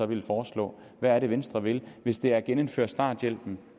vil foreslå hvad er det venstre vil hvis det er at genindføre starthjælpen